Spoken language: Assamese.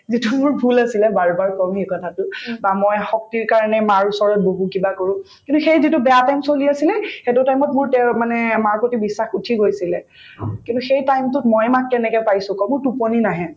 যিটো মোৰ ভূল আছিলে বাৰ বাৰ কম সেই কথাটো বা মই শক্তিৰ কাৰণে মাৰ ওচৰত বহো কিবা কৰো কিন্তু সেই যিটো বেয়া time চলি আছিলে সেইটো time ত মোৰ তেওঁৰ মানে মাৰ প্ৰতি বিশ্বাস উঠি গৈছিলে কিন্তু সেই time টোত মই মাক কেনেকে পাইছো কওঁ মোৰ টোপনি নাহে